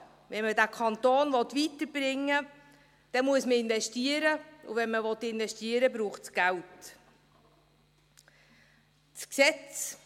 Wenn man diesen Kanton weiterbringen will, dann muss man investieren, und wenn man investieren will, braucht es Geld.